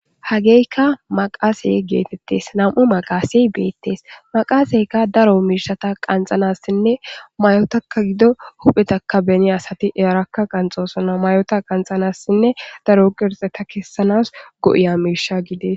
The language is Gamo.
Hageykka maqaasey geetettes nam7u maqasey beettes maqaaseykka daro miishata qanxanassinne mayotaka gido huphetaka beni asati earakka qanxoosona mayota qanxanassinne daro qirxeta kessanas go7iya miisha gides